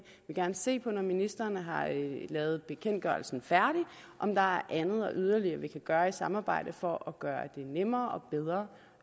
gerne se på når ministeren har lavet bekendtgørelsen færdig om der er andet og yderligere vi kan gøre i samarbejde for at gøre det nemmere og bedre